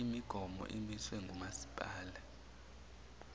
imigomo emiswe ngumasipala